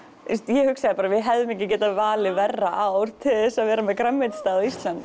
ég hugsaði bara við hefðum ekki valið verra ár til að vera með grænmetisstað á Íslandi